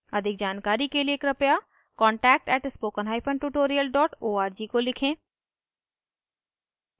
अधिक जानकारी के कृपया contact @spokentutorial org को लिखें